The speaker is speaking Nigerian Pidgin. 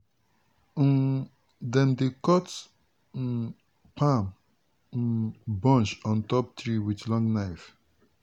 um dem dey cut um palm um bunch on top tree with long knife.